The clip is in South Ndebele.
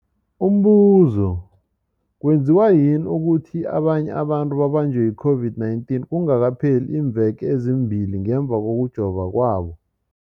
Umbuzo, kwenziwa yini ukuthi abanye abantu babanjwe yi-COVID-19 kungakapheli iimveke ezimbili ngemva kokujova kwabo?